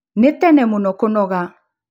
Nĩ tene mũno kũnoga